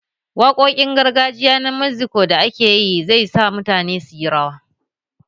Waƙoƙin gargajiya na Mexiko da akeyi zai sa mutane su yi rawa